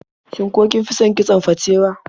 Shin ko kin fi son kitson fatewa?